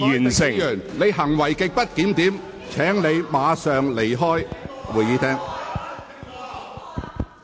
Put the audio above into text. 朱凱廸議員，你行為極不檢點，請立即離開會議廳。